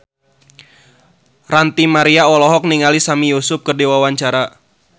Ranty Maria olohok ningali Sami Yusuf keur diwawancara